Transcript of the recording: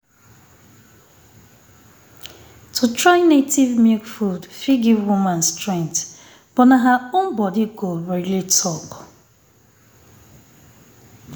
to try native um milk food fit give woman um strength but na her own body go um really talk